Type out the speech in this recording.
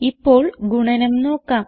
ഇപ്പോൾ ഗുണനം നോക്കാം